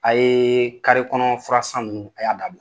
A ye kɔnɔ furasan ninnu a y'a dabila.